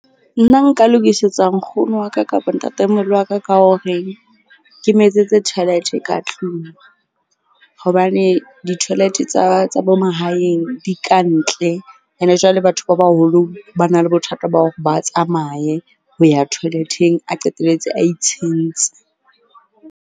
Nna nka lokisetsa nkgono wa ka kapa ntatemoholo wa ka ka hore ke mo etsetse toilet-e ka tlung. Hobane di-toilet tsa bo mang mahaeng di ka ntle ene jwale batho ba baholo ba na le bothata ba hore ba tsamaye ho ya toilet-eng. A qetelletse a itshentse.